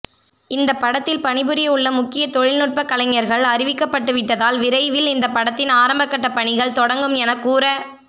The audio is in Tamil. இந்த படத்தில் பணிபுரியவுள்ள முக்கிய தொழில்நுட்ப கலைஞர்கள் அறிவிக்கப்பட்டுவிட்டதால் விரைவில் இந்த படத்தின் ஆரம்பகட்ட பணிகள் தொடங்கும் என கூற